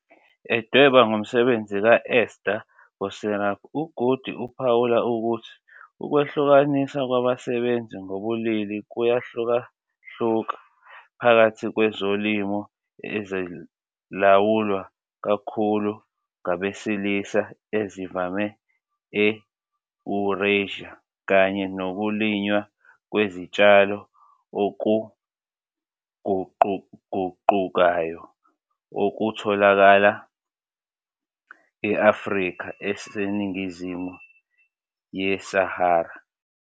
Edweba ngomsebenzi ka-Ester Boserup, uGoody uphawula ukuthi ukwehlukaniswa kwabasebenzi ngokobulili kuyahlukahluka phakathi kwezolimo ezilawulwa kakhulu ngabesilisa ezivamile e-Eurasia kanye nokulinywa kwezitshalo okuguquguqukayo okutholakala e-Afrika eseningizimu yeSahara.